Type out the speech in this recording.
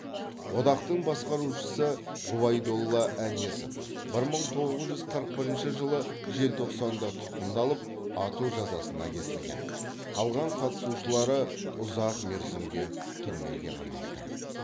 одақтың басқарушысы ғұбайдолла әнесов бір мың тоғыз жүз қырық бірінші жылы желтоқсанда тұтқындалып ату жазасына кесілген қалған қатысушылары ұзақ мерзімге түрмеге қамалды